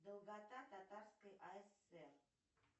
долгота татарской асср